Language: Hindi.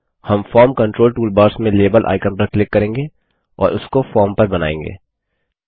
हम फॉर्म कंट्रोल टूलबार्स में लाबेल आइकन पर क्लिक करेंगे और उसको फॉर्म पर बनाएँगे